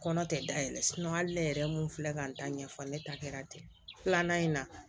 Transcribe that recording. Kɔnɔ tɛ da yɛlɛ hali ne yɛrɛ mun filɛ k'an ta ɲɛfɔ ne ta kɛra ten filanan in na